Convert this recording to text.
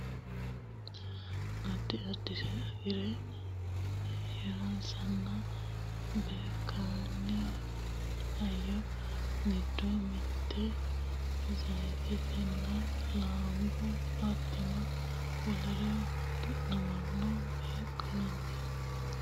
addi addire safarre hirranninna beenkanni hayyo giddo mitte zayiitenna laanba hattono wolere du'namaano beenkanni gara ikkanna kowiichono hakkuri assinanni he'nooni